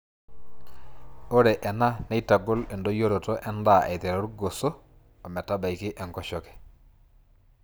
Ore ena neitagol endoyioroto endaa aiteru goso ometabaiki enkoshoke.